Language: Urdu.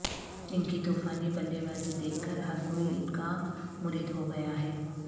ان کی طوفانی بلے بازی دیکھ کر ہر کوئی ان کا مرید ہو گیا ہے